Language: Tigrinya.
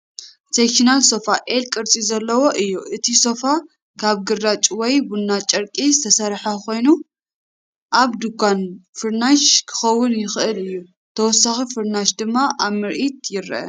ሴክሽናል ሶፋ (L ቅርጺ ዘለዎ) እዩ። እቲ ሶፋ ካብ ግራጭ ወይ ቡናዊ ጨርቂ ዝተሰርሐ ኮይኑ፡ ኣብ ድኳን ፍርናሽ ክኸውን ይኽእል እዩ፣ ተወሳኺ ፍርናሽ ድማ ኣብ ምርኢት ይርአ።